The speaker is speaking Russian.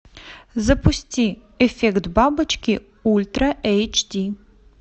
запусти эффект бабочки ультра эйч ди